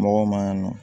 Mɔgɔw ma nɔ